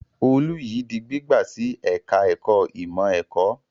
Olú yìí di gbígbà sí ẹ̀ka-ẹ̀kọ́ ìmọ̀-ẹ̀kọ́.